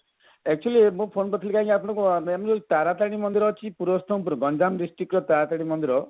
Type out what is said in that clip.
actually ମୁଁ phone କରିଥିଲି କଣ କି ତାରାତାରିଣୀ ମନ୍ଦିର ଅଛି ପୁରସ୍ତମ ପୁର ଗଞ୍ଜାମ district ର ତାରାତାରିଣୀ ମନ୍ଦିର